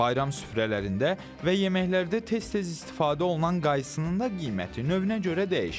Bayram süfrələrində və yeməklərdə tez-tez istifadə olunan qaysının da qiyməti növünə görə dəyişir.